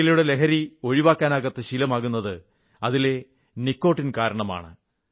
പുകയിലയുടെ ലഹരി ഒഴിവാക്കാനാകാത്ത ശീലമാകുന്നത് അതിലെ നികോട്ടിൻ കാരണമാണ്